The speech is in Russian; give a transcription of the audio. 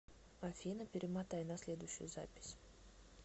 афина перемотай на следующую запись